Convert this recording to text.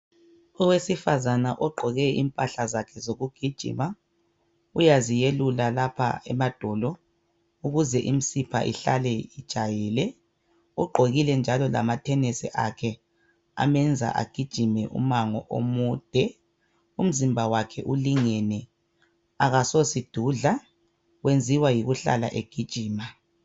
Owesifazana ogqoke impahla zakhe zokugijima uyaziyelula lapha emadolo ukuze imisipha ihlale ijwayele uqgokile njalo lama thenesi akhe amenza agijime umango omude umzimba wakhe ulingene akasosidudla wenziwa yikuhlala egijima.